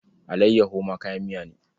Allayyaho ma kayan miya ne.